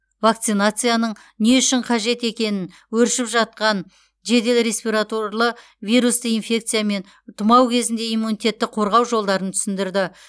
вакцинацияның не үшін қажет екенін өршіп жатқан жедел ресвературлы вирусты инфекциямен мен тұмау кезінде иммунитетті қорғау жолдарын түсіндірді